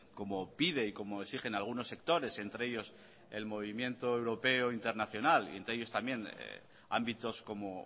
como pide y como exige algunos sectores entre ellos el movimiento europeo internacional y entre ellos también ámbitos como